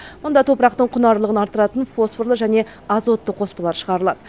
мұнда топырақтың құнарлығын арттыратын фосфорлы және азотты қоспалар шығарылады